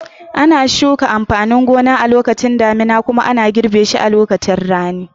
Ana shuka amfanin gona a lokacin damina kuma ana girbe shi a lokacin rani.